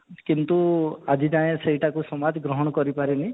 କିନ୍ତୁ ଆଜି ଯାଏ ସେଇଟାକୁ ସମାଜ ଗ୍ରହଣ କରିପାରିନି